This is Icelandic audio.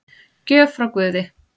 Gjöf frá guði